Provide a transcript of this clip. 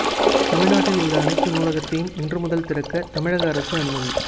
தமிழ்நாட்டில் உள்ள அனைத்து நூலகத்தையும் இன்று முதல் திறக்க தமிழக அரசு அனுமதி